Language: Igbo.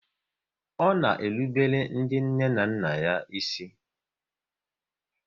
Ọ na erubele ndị nne na nna ya ísì?